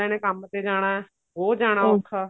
ਕੰਮ ਤੇ ਜਾਣਾ ਉਹ ਜਾਣਾ ਔਖਾ